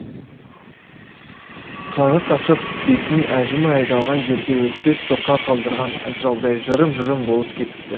қаны қашып бетінің әжімі айдалған жерде өтпес соқа қалдырған атжалдай жырым жырым болып кетіпті